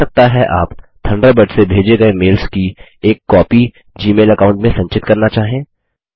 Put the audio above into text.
हो सकता है आप थंडरबर्ड से भेजे गये मेल्स की एक कॉपी जी मेल अकाउंट में संचित करना चाहें